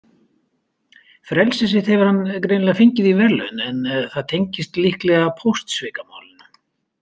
Frelsi sitt hefur hann greinilega fengið í verðlaun en það tengdist líklega póstsvikamálinu.